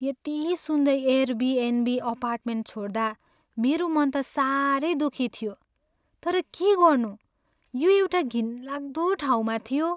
यति सुन्दर Airbnb apartment छोड्दा मेरो मन त साह्रै दुखी थियो, तर के गर्नु यो एउटा घिनलाग्दो ठाउँमा थियो।